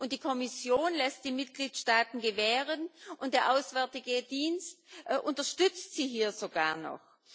Die Kommission lässt die Mitgliedsstaaten gewähren, und der Auswärtige Dienst unterstützt sie hier sogar noch!